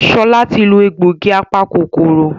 Shola tí lọ egbògi apa-kòkòrò.